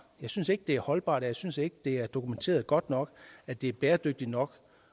jeg synes ikke det er holdbart og jeg synes ikke det er dokumenteret godt nok at det er bæredygtigt nok